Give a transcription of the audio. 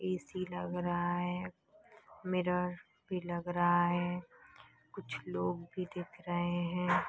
ऐसी लग रहा है मिरर भी लग रहा है कुछ लोग भी दिख रहे है।